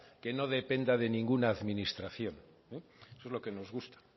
que no dependa de ninguna administración eso es lo que nos gusta